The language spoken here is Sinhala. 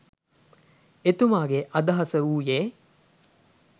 එතුමාගේ අදහස වූයේ